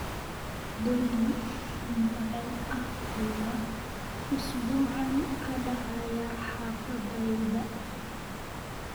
Dhacdooyin noocee ah ayaa usbuucan ka dhacaya xaafaddayda?